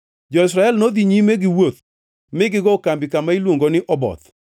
Jo-Israel nodhi nyime giwuoth mi gigo kambi kama iluongo ni Oboth.